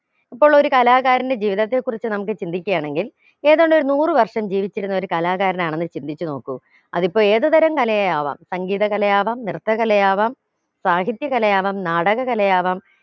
അപ്പോൾ ഒരു കാലാകാരന്റെ ജീവിതത്തെ കുറിച്ച് നമുക്ക് ചിന്തിക്കയാണെങ്കിൽ ഏതാണ്ടൊരു നൂറ് വര്ഷം ജീവിച്ചിരുന്ന ഒരു കലാകാരനാണെന്ന് ചിന്തിച്ച് നോക്കു അതിപ്പോ ഏത് തരാം കലയാവാം സംഗീതകലയാവാം നൃത്തകലയാവാം സാഹിത്യകലയാവാം നാടകകലയാവാം